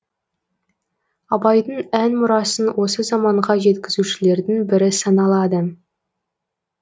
абайдың ән мұрасын осы заманға жеткізушілердің бірі саналады